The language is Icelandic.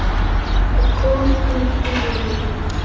Og Kolbrún inni hjá honum.